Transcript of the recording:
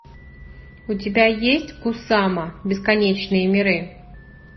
у тебя есть кусама бесконечные миры